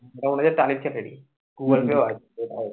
ওটা মনে হচ্ছে টালির চালেরই বলতে পারছিনা ভাই